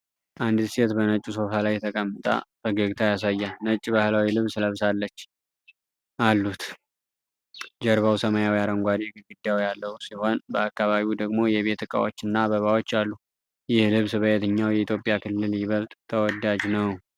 አንዲት ሴት በነጭ ሶፋ ላይ ተቀምጣ ፈገግታ ያሳያል። ነጭ ባህላዊ ልብስ ለብሳለች አሉት። ጀርባው ሰማያዊ-አረንጓዴ ግድግዳ ያለው ሲሆን፣ በአካባቢው ደግሞ የቤት እቃዎች እና አበባዎች አሉ። ይህ ልብስ በየትኛው የኢትዮጵያ ክልል ይበልጥ ተወዳጅ ነው?